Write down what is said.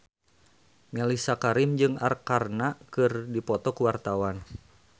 Mellisa Karim jeung Arkarna keur dipoto ku wartawan